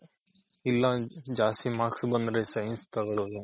ಇಲ್ಲ ಜಾಸ್ತಿ marks ಬಂದ್ರೆ science ತಗೊಳುದು